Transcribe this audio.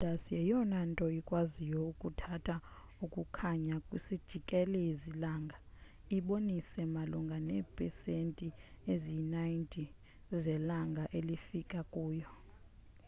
i-enceladus yeyona nto ikwaziyo ukuthatha ukukhanya kwisijikelezi langa ibonisa malunga neepesenti eziyi-90 zelanga elifika kuyo